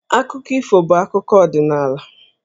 Akụkọ ifo bụ akụkọ ọdịnaala.